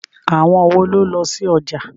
Àwọn wo ló lọ sí ọjà?